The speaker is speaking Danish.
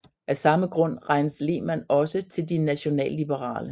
Af samme grund regnes Lehmann også til De Nationalliberale